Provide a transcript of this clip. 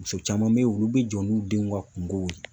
Muso caman be yen olu bi jɔ n'u denw ka kungo ye